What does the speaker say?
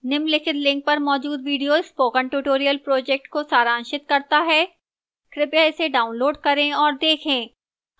निम्नलिखित link पर मौजूद video spoken tutorial project को सारांशित करता है कृपया इसे डाउनलोड करें और देखें